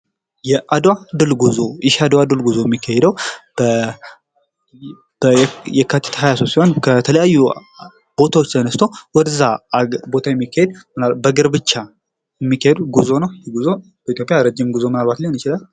የአድዋ ድል ጉዞ፡- የአድዋ ድል ጉዞ የሚካሄደው የካቲት አስራሁለት ከተለያዩ ቦታዎች ተነስቶ ወደዛ ቦታ የሚኬድ፥ በእግር ብቻ የሚኬድ ጉዞ ነው፥ ይህ ጉዞ በኢትዮጵያ ረጅም ጉዞ ምናልባት ሊሆን ይችላል።